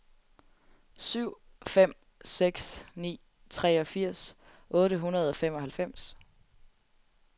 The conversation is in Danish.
syv fem seks ni treogfirs otte hundrede og femoghalvfems